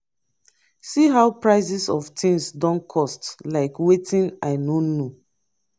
see how prices of things don cost like wetin i no know.